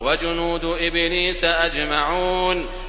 وَجُنُودُ إِبْلِيسَ أَجْمَعُونَ